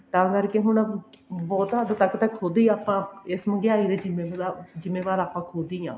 ਤਾਂ ਕਰਕੇ ਹੁਣ ਬਹੁਤ ਹੱਦ ਤੱਕ ਤਾਂ ਖੁਦ ਹੀ ਆਪਾਂ ਇਸ ਮਹਿੰਗਾਈ ਦੇ ਜਿਮੇਵਾਰ ਆਪਾਂ ਖੁਦ ਹੀ ਆਂ